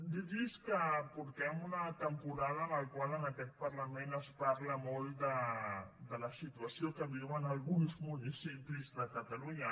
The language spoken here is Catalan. dir los que portem una temporada en la qual en aquest parlament es parla molt de la situació que viuen alguns municipis de catalunya